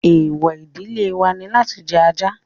Èèwọ̀ ìdílé wa ni láti jẹ ajá